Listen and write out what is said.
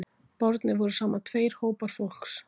Bornir voru saman tveir hópar fólks